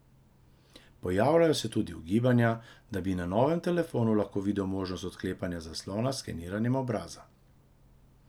Pojavljajo se tudi ugibanja, da bi na novem telefonu lahko videli možnost odklepanja zaslona s skeniranjem obraza.